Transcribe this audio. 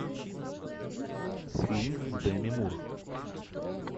фильм с деми мур